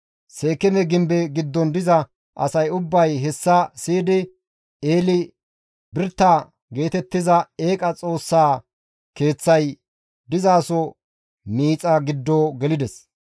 Seekeeme Gimbe giddon diza asay ubbay hessa siyidi Eli-Birita geetettiza eeqa xoossa Keeththay dizaso miixa giddo gelides.